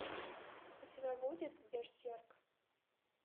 у тебя будет берсерк